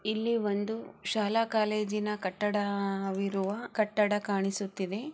ಇಲ್ಲಿ ಒಂದು ಶಾಲಾ-ಕಾಲೇಜಿನ ಕಟ್ಟಡವಿರುವ ಕಟ್ಟಡ ಕಾಣಿಸುತ್ತಿದೆ.